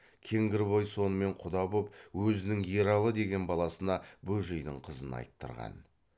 кеңгірбай сонымен құда боп өзінің ералы деген баласына бөжейдің қызын айттырған